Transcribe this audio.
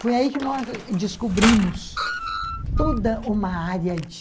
Foi aí que nós descobrimos toda uma área de...